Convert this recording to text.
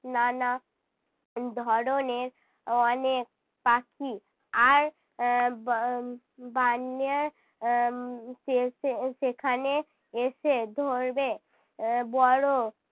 নানা ধরনের অনেক পাখি আর আহ বা আহ বান্যার আহ সে~ সে~ সেখানে এসে ধরবে এর বড়ো